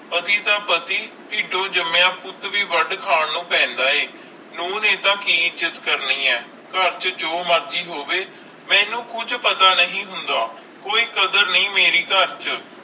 ਪਤੀ ਤਾ ਪਤੀ ਤਿਦੋ ਜਾਮਿਆ ਪੁੱਤ ਵੇ ਵਾਦ ਖਾਨ ਨੂੰ ਪੈਂਦਾ ਆਈ ਨੂੰਹ ਨੇ ਐਡਾ ਕਿ ਇਜ੍ਜਤ ਕਰਨੀ ਆਈ ਕਰ ਚ ਜੋ ਮਰਜ਼ੀ ਹੋਵੇ ਮੇਨੂ ਕੁਜ ਪਤਾ ਕਰ ਚ ਜੋ ਮਰਜ਼ੀ ਹੋਵੇ ਮੇਨੂ ਕੁਜ ਪਤਾ ਨਹੀਂ ਹੋਂਦ ਕੋਈ ਕਾਦਰ ਨਹੀਂ ਮੇਰੀ ਕਰ ਚ